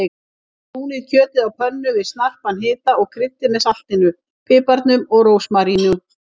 Brúnið kjötið á pönnu við snarpan hita og kryddið með saltinu, piparnum og rósmaríninu.